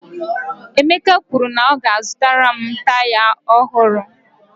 Emeka kwuru na ya ga-azụtara m taya ọhụrụ